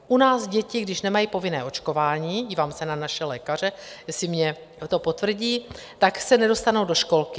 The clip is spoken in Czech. U nás děti, když nemají povinné očkování - dívám se na naše lékaře, jestli mi to potvrdí - tak se nedostanou do školky.